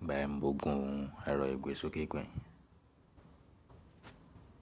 Ìgbà yen mo gùn ẹ̀rọ ìgbésókè gbẹ̀yìn.